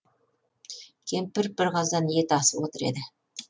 кемпір бір қазан ет асып отыр еді